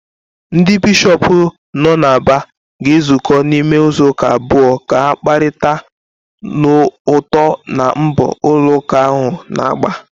Ndị Bishọp nọ n’Aba ga-ezukọ n’ime izuụka abụọ ka ha kparịta n’uto na mbọ ụlọ ụka ahụ na-agba.